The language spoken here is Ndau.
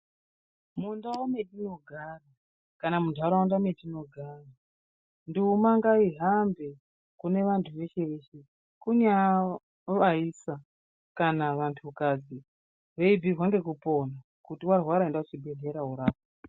Mundau metinogara kana muntaraunda mwetinogara, nduma ngaihambe kune vanthu veshe veshe kunyaa vaisa kana vantukadzi veibhuirwa ngekupona kuti warwara enda kuchibhedhleya woorapwa.